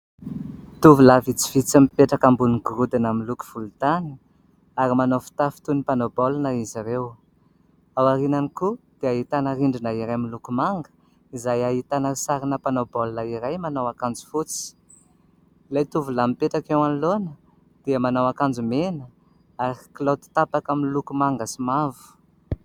Tovolahy vitsivitsy mipetraka ambonin'ny gorodona miloko volontany, ary manao fitafy toy ny mpanao baolina izy ireo. Ao aorianany koa, dia ahitana rindrina iray miloko manga, izay ahitana sarina mpanao baolina iray manao akanjo fotsy. Ilay tovolahy mipetraka eo anoloana, dia manao akanjo mena, ary kilaoty tapaka miloko manga sy mavo.